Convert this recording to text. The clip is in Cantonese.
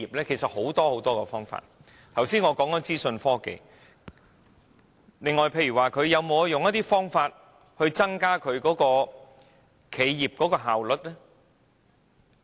其實除了我剛才談過的資訊科技外，有否其他方法，例如自動化，以增加企業的效率？